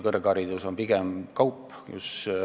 Kõrgharidus on pigem kaup.